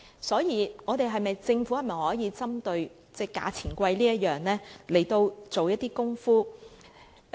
所以，政府可否針對"價錢昂貴"這點來做一些工夫？